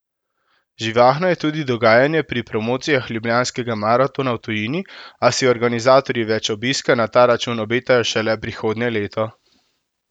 Živahno je tudi dogajanje pri promocijah ljubljanskega maratona v tujini, a si organizatorji več obiska na ta račun obetajo šele prihodnje leto.